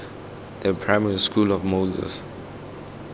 the primary school of moses